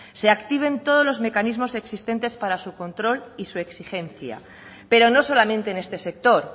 se activen todos los mecanismos existentes para su control y su exigencia pero no solamente en este sector